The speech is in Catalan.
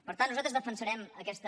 per tant nosaltres defensarem aquesta